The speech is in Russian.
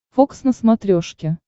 фокс на смотрешке